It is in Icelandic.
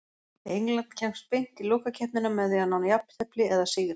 England kemst beint í lokakeppnina með því að ná jafntefli eða sigri.